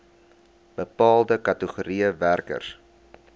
bepaalde kategorieë werkers